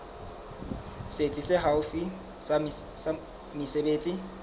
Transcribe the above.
setsi se haufi sa mesebetsi